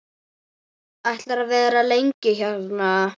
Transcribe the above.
Ætlarðu að vera lengi hérna?